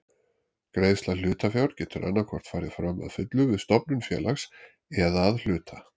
Greiðsla hlutafjár getur annað hvort farið fram að fullu við stofnun félags eða að hluta.